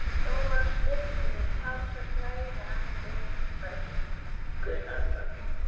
Þó var styrkurinn talsvert lægri en viðmiðunarmörk.